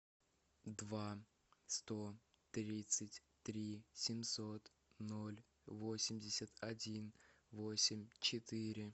два сто тридцать три семьсот ноль восемьдесят один восемь четыре